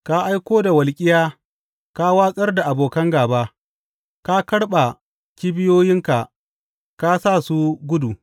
Ka aiko da walƙiya ka watsar da abokan gāba; ka karɓa kibiyoyinka ka sa su gudu.